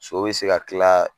So bɛ se ka tila